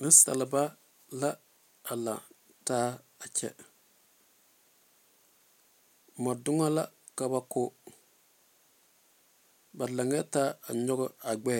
Neŋ saliba la are a kyɛ moɔ doŋe la ka ba go ba laŋtaa a nyɔge a gbɛ